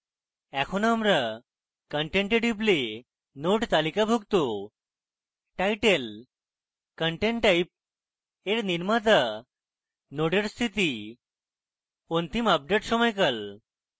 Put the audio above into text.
এখন আমরা content we টিপলে node তালিকাভুক্ত title content type এর নির্মাতা নোডের স্থিতি অন্তিম আপডেট সময়কাল